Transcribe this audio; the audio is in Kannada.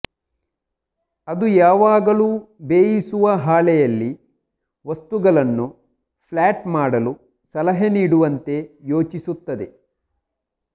ಅದು ಯಾವಾಗಲೂ ಬೇಯಿಸುವ ಹಾಳೆಯಲ್ಲಿ ವಸ್ತುಗಳನ್ನು ಫ್ಲಾಟ್ ಮಾಡಲು ಸಲಹೆ ನೀಡುವಂತೆ ಯೋಚಿಸುತ್ತದೆ